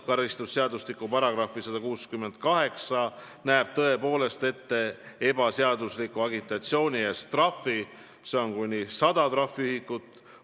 Karistusseadustiku § 168 näeb ette trahvi ebaseadusliku agitatsiooni eest, see on kuni 100 trahviühikut.